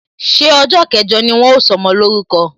Ṣé ọjọ kẹjọ ni wọn ó sọmọ lórúko?